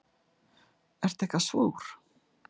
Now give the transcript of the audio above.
Ertu eitthvað súr?